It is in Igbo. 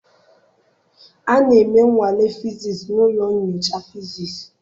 A na-eme nnwale fiziisii na ụlọ nyocha fiziisii.